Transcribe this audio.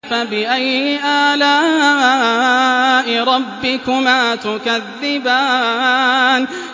فَبِأَيِّ آلَاءِ رَبِّكُمَا تُكَذِّبَانِ